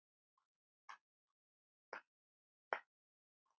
Við svörum ef hún spyr.